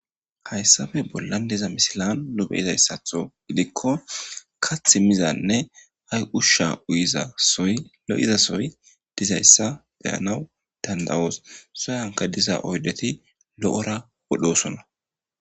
Hayssappe bolla baggan diza misiliyan diza issato giddiko kaththa mizanne usha uyida issoyi lo'iz issoyi be'anwu danidayos sohuwanika de'ida oyiddeti lo'anawu danidayisona